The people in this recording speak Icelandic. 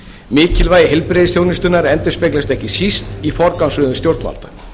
mikilvægi heilbrigðisþjónustunnar endurspeglast ekki síst í forgangsröðun stjórnvalda